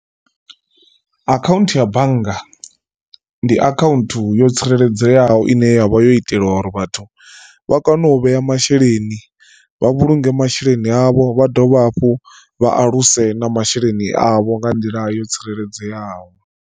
Akhaunthu ya bannga ndi account yo tsireledzeaho ine yavha yo itelwa uri vhathu vha kone u vhea masheleni vha vhulunge masheleni avho vha dovha hafhu vha aluse na masheleni avho nga nḓila yo tsireledzeaho.